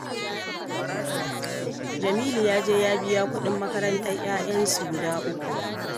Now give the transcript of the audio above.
Jamilu ya je ya biya kuɗin makarantar 'ya'yansu guda uku